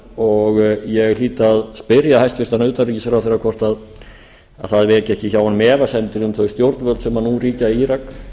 ég hlýt að spyrja hæstvirtan utanríkisráðherra hvort það veki ekki hjá honum efasemdir um þau stjórnvöld sem nú ríkja í írak